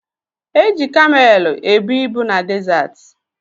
Eji kamelu ebu ibu na dezaati.